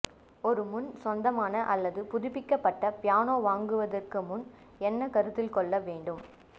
ஒரு முன் சொந்தமான அல்லது புதுப்பிக்கப்பட்ட பியானோ வாங்குவதற்கு முன் என்ன கருத்தில் கொள்ள வேண்டும்